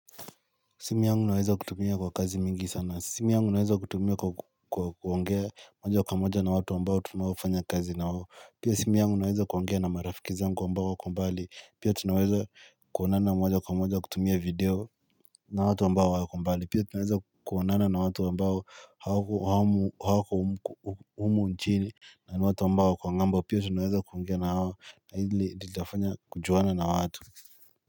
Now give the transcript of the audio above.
Simu yangu naweza kutumia kwa kazi mingi sana, simu yangu naweza kutumia kwa kuongea moja kwa moja na watu ambao tunaofanya kazi na wao. Pia simu yangu naweza kuongea na marafiki zangu ambao wako mbali, pia tunaweza kuonana moja kwa moja kutumia video na watu ambao wako mbali. Pia tunaweza kuonana na watu ambao hawako humu nchini, na ni watu ambao wako ng'ambo pia tunaweza kuongea na hao, na hili litafanya kujuana na watu.